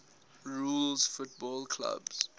rules football clubs